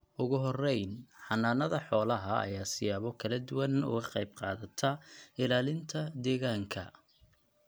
Ugu horrayn, xannaanada xoolaha ayaa siyaabo kala duwan uga qayb qaadata ilaalinta deegaanka.